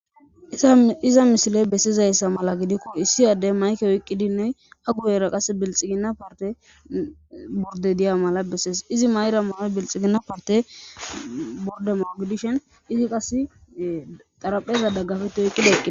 Iza medhiza misiley bessizayssa mala gidiko issi addey mayke oyqidine a guyera qasse bilxigina partte bordde diya mala bessees izi mayida mayoy bilxigina partte bordde mayo gidishin izi qassi xarapheza dagafetidi eqqi